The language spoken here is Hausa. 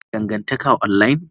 Kuna dangantaka online?